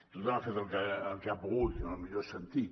tothom ha fet el que ha pogut en el millor sentit